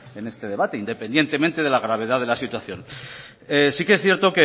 en este debate independientemente de la gravedad de la situación sí que es cierto